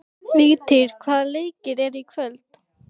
Vigtýr, hvaða leikir eru í kvöld?